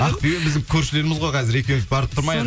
ақбибі біздің көршілеріміз ғой қазір екеуіміз барып тұрмайық